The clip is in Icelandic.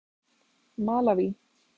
Malaví